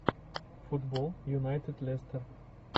футбол юнайтед лестер